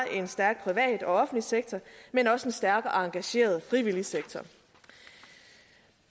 en stærk privat og offentlig sektor men også en stærk og engageret frivillig sektor